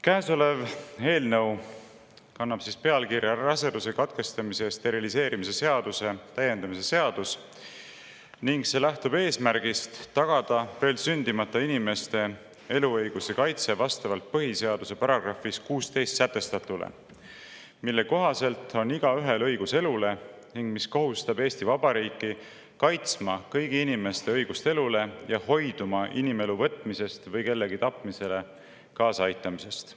Käesolev eelnõu kannab pealkirja "Raseduse katkestamise ja steriliseerimise seaduse täiendamise seadus" ning see lähtub eesmärgist tagada veel sündimata inimeste eluõiguse kaitse vastavalt põhiseaduse §‑s 16 sätestatule, mille kohaselt igaühel on õigus elule ning mis kohustab Eesti Vabariiki kaitsma kõigi inimeste õigust elule ja hoiduma inimelu võtmisest või kellegi tapmisele kaasaaitamisest.